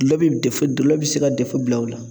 Gullɔ be defo dɔlɔ be se ka dɛfo bila o la